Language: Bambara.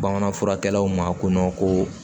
Bamanan furakɛlaw ma ko ko